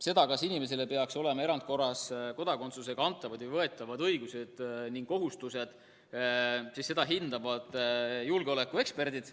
Seda, kas inimesele peaks erandkorras andma kodakondsusega kaasnevad õigused ja kohustused, hindavad julgeolekueksperdid.